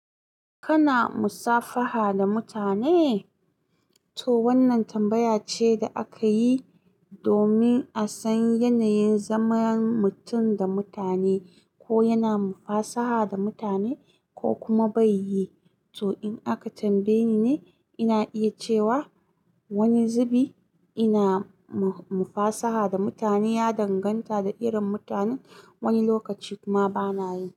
Kana musafaha da mutane? To wannan tambaya ce da aka yi domin a san yanayin zaman mutum da mutane, ko yana mufasaha da mutane ko kuma bai yi. To in aka tambaye ni ne, ina iya cewa wani zubi ina mufasaha da mutane, ya danganta da irin mutanen wani lokaci kuma bana yi.